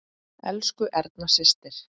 Elsku Erna systir.